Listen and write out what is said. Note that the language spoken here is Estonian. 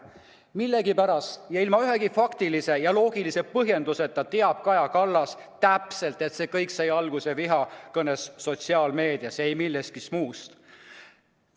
Millegipärast, ilma ühegi faktilise ja loogilise põhjenduseta, teab Kaja Kallas täpselt, et see kõik sai alguse vihakõnest sotsiaalmeedias, ei millestki muust.